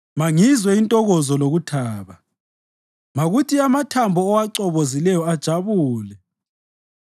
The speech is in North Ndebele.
Mangizwe intokozo lokuthaba; makuthi amathambo owacobozileyo ajabule.